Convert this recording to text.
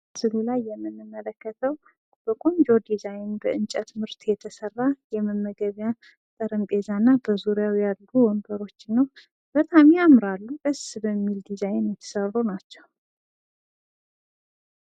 በምስሉ ላይ የምንመለከተው በቆንጆ ዲዛይን በእንጨት ምርት የተሰራ የመመገቢያ ጠረጴዛ እና በዙሪያው ያሉ ወንበሮችን ነው። በጣም ያምራሉ ደስ በሚል ዲዛይን የተሰሩ ናቸዉ።